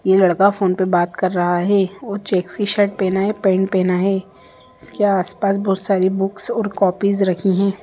यह लड़का फोन पर बात कर रहा है यह चेक शर्ट पहना है पैंट पहना है इसके आस-पास बहुत सारी बुक्स और कॉपीज रखी है।